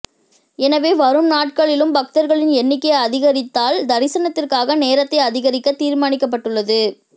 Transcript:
எனவே வரும் நாட்களிலும் பக்தர்களின் எண்ணிக்கை அதிகரித்தால் தரிசனத்திற்கான நேரத்தை அதிகரிக்க தீர்மானிக்கப்பட்டுள்ளது